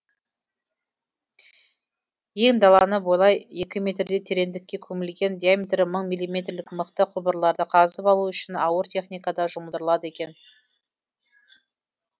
ен даланы бойлай екі метрдей тереңдікке көмілген диаметрі мың милиметрлік мықты құбырларды қазып алу үшін ауыр техника да жұмылдырылады екен